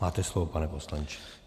Máte slovo, pane poslanče.